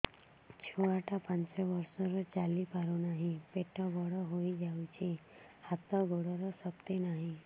ଛୁଆଟା ପାଞ୍ଚ ବର୍ଷର ଚାଲି ପାରୁନାହଁ ପେଟ ବଡ ହୋଇ ଯାଉଛି ହାତ ଗୋଡ଼ର ଶକ୍ତି ନାହିଁ